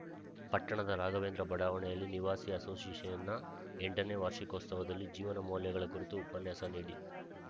ಪಟ್ಟಣದ ರಾಘವೇಂದ್ರ ಬಡಾವಣೆಯಲ್ಲಿ ನಿವಾಸಿ ಅಸೋಸಿಯೇಷನ್‌ನ ಎಂಟನೇ ವಾರ್ಷಿಕೋತ್ಸವದಲ್ಲಿ ಜೀವನ ಮೌಲ್ಯಗಳ ಕುರಿತು ಉಪನ್ಯಾಸ ನೀಡಿ